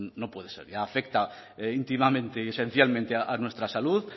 no puede ser afecta íntimamente y esencialmente a nuestra salud